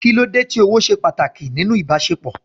Kí ló dé tí ọ̀wọ̀ ṣe pàtàkì nínú ìbáṣepọ̀?